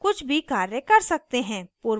पूर्वावलोकन को बंद करें